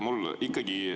Mul ikkagi …